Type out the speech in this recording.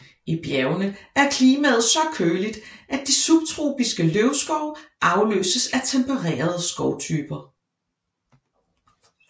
I bjergene er klimaet så køligt at de subtropiske løvskove afløses af tempererede skovtyper